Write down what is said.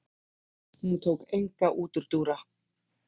Hún tók enga útúrdúra.